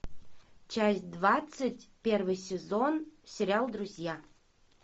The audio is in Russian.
часть двадцать первый сезон сериал друзья